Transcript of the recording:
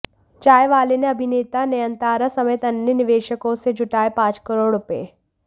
चाय वाले ने अभिनेता नयनतारा समेत अन्य निवेशकों से जुटाए पांच करोड़ रुपये